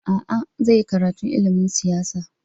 A'a, zai yi karatu ilimin siyasa.